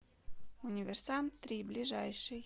универсам три ближайший